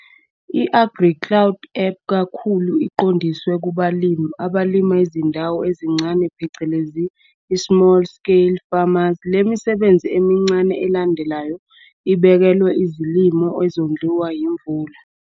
I-AgriCloud app ikakhulu iqondiswe kubalimi abalima izindawo ezincane phecelezi i-small scale farmers, SSF'S. Le misebenzi emincane elandelayo ibekelwe izilimo ezondliwa yimvula.